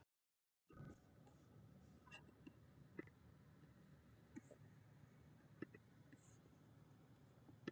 Frekara lesefni: Hvað eru að jafnaði mörg atkvæði í orði í íslensku ritmáli?